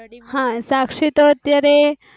શાક્ષી તો અત્યારે